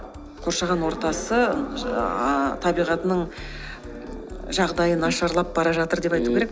қоршаған ортасы ііі ааа табиғатының жағдайы нашарлап бара жатыр деп айту керек